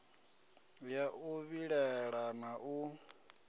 ya u vhilaela na u